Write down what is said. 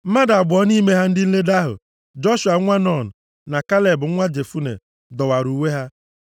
Mmadụ abụọ nʼime ndị nledo ahụ, Joshua nwa Nun na Kaleb nwa Jefune, dọwara uwe + 14:6 Mgbe mmadụ dọwara uwe ya, nke a na-egosipụta ọnọdụ iru ụjụ na iwe. ha.